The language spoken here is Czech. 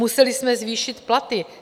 Museli jsme zvýšit platy.